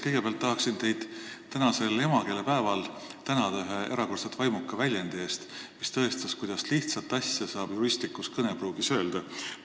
Kõigepealt tahan teid tänasel emakeelepäeval tänada ühe erakordselt vaimuka väljendi eest, mis tõestas, kuidas lihtsat asja saab juristlikus kõnepruugis öelda.